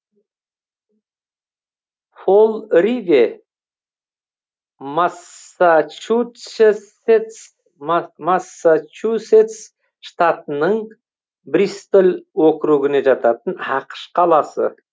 фол ривэ массачусетс штатының бристоль округіне жататын ақш қаласы